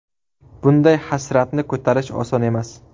Bunday hasratni ko‘tarish oson emas”.